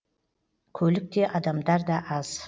көлік те адамдар да аз